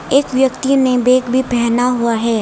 एक व्यक्ति ने बैग भी पैहना हुआ है।